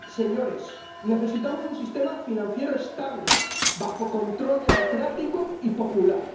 Señores, necesitamos un sistema financiero estable bajo control democrático y popular.